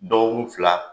Dɔgɔkun fila